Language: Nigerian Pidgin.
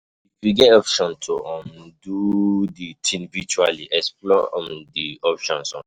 if you get option to um do di thing virtually, explore um di option um